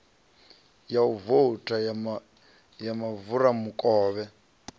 ya u vouta ya mufaramukovhe